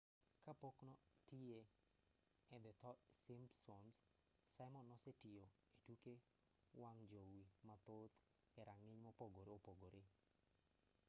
ka pok notiyo e the simpsoms simon nosetiyo e tuke wang' jowi mathoth e rang'iny mopogore opogore